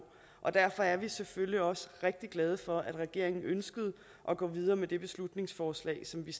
og derfor er vi selvfølgelig også rigtig glade for at regeringen ønskede at gå videre med det beslutningsforslag som vi